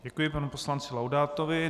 Děkuji panu poslanci Laudátovi.